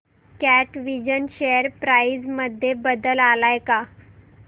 कॅटविजन share price मध्ये बदल आलाय का